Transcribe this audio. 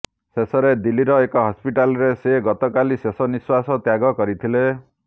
ଶେଷରେ ଦିଲ୍ଲୀର ଏକ ହସ୍ପିଟାଲରେ ସେ ଗତକାଲି ଶେଷନିଃଶ୍ୱାସ ତ୍ୟାଗ କରିଥିଲେ